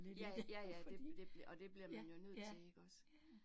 Ja jaja det det og det bliver man jo nødt til iggås